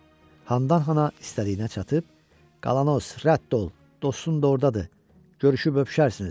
Handan-hana istədiyinə çatıb, qalanos rədd ol, dostun da ordadır, görüşüb öpüşərsiniz.